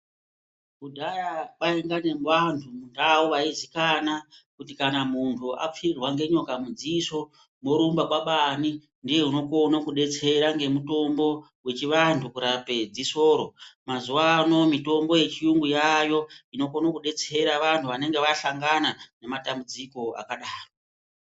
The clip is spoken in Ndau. Kudhaya kwainga nevantu mundau vaizikana kuti kana muntu apfirirwa ngenyoka mudziso morumba kwabaani ndiye unokona kudetsera ngemutombo wechivantu kurape dziso ro, mazuwaano mitombo yechiyungu yaayo inokone kudetsera vanhu vanenge vahlangana nematambudziko akadaro.